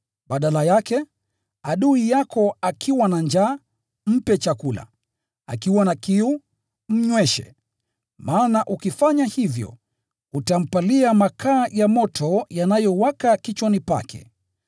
Badala yake: “Kama adui yako ana njaa, mlishe; kama ana kiu, mpe kinywaji. Kwa kufanya hivyo, unaweka makaa ya moto yanayowaka kichwani pake.”